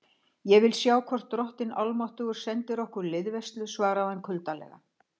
Ég vil sjá hvort drottinn almáttugur sendir okkur liðveislu, svaraði hann kuldalega.